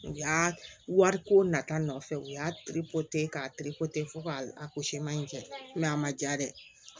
U y'a wariko nata nɔfɛ u y'a k'a fo k'a ko seman in kɛ mɛ a ma ja dɛ